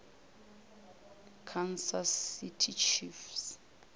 kansas city chiefs